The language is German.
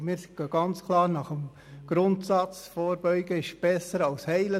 Wir richten uns ganz klar nach dem Grundsatz «Vorbeugen ist besser als heilen».